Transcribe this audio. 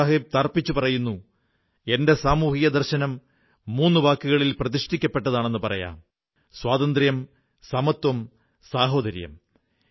ബാബാസാഹബ് തറപ്പിച്ചു പറയുന്നു എന്റെ സാമൂഹിക ദർശനം മൂന്നു വാക്കുകളിൽ പ്രതിഷ്ഠിക്കപ്പെട്ടതെന്നു പറയാം സ്വാതന്ത്ര്യം സമത്വം സാഹോദര്യം